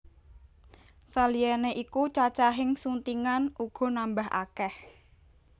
Saliyané iku cacahing suntingan uga nambah akèh